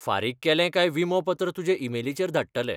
फारीक केलें काय विमोपत्र तुजे इमेलीचेर धाडटले.